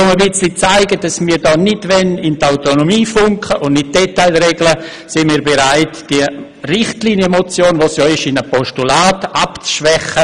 Um zu zeigen, dass wir nicht in die Autonomie hineinfunken und Details regeln wollen, sind wir bereit, diese Richtlinienmotion in ein Postulat abzuschwächen.